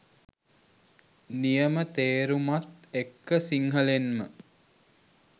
නියම තේරුමත් එක්ක සිංහලෙන්ම